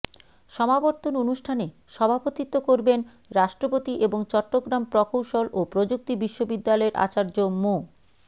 সমাবর্তন অনুষ্ঠানে সভাপতিত্ব করবেন রাষ্ট্রপতি এবং চট্টগ্রাম প্রকৌশল ও প্রযুক্তি বিশ্ববিদ্যালয়ের আচার্য মো